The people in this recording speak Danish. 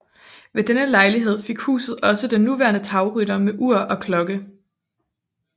Ved denne lejlighed fik huset også den nuværende tagrytter med ur og klokke